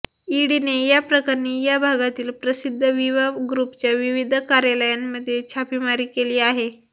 ईडीने या प्रकरणी या भागातील प्रसिद्ध विवा ग्रुपच्या विविध कार्यालयांमध्ये छापेमारी केली आहे